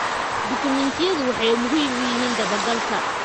Dukumeentiyadu waxay muhiim u yihiin dabagalka.